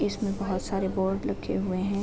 इसमें बहोत सारे बोर्ड लगे हुए हैं।